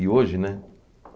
E hoje, né?